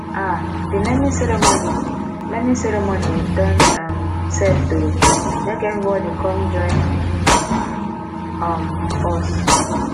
um di naming ceremony naming ceremony don um set o make everybodi com join um us